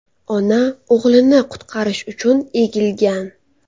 Ona o‘g‘lini qutqarish uchun egilgan.